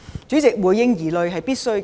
主席，回應疑慮是必須的。